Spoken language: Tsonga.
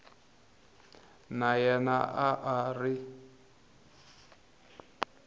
na yena a a ri